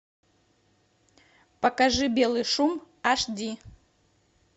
покажи белый шум аш ди